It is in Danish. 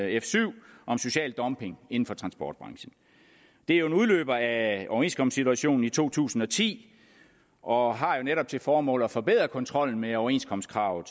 f syv om social dumping inden for transportbranchen det er jo en udløber af overenskomstsituationen i to tusind og ti og har jo netop til formål at forbedre kontrollen med overenskomstkravet